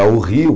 Ah o Rio...